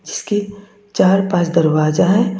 इसके चार पांच दरवाजा है।